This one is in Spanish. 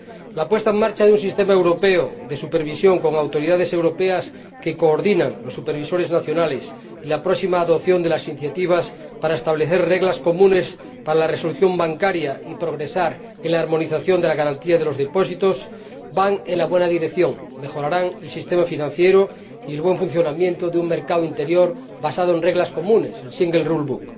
La puesta en marcha de un sistema europeo de supervisión, con autoridades europeas que coordinan los supervisores nacionales, y la próxima adopción de las iniciativas para establecer reglas comunes para la resolución bancaria y progresar en la armonización de las garantías de los depósitos van en la buena dirección, mejorarán el sistema financiero y el buen funcionamiento de un mercado interior basado en reglas comunes, un Single Rule Book